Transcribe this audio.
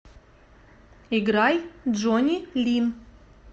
играй джонни лин